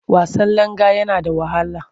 Wasan langa yana da wahala.